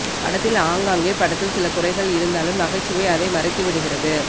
படத்தில் ஆங்காங்கே படத்தில் சில குறைகள் இருந்தாலும் நகைச்சுைவை அதை மறைத்து விடுகிறது